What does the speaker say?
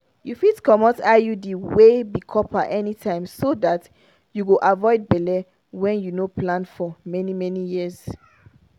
you fit comot iud wey be copper anytime so that you go avoid belle wey you no plan for many-many years.